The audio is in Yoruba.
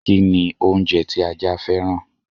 Kini oúnjẹ tí ajá fẹ́ràn?